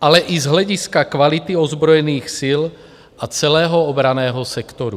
ale i z hlediska kvality ozbrojených sil a celého obranného sektoru.